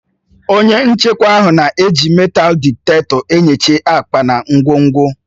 Onye nchekwa ahụ na-eji meetal dịtektọ enyocha akpa na ngwongwo.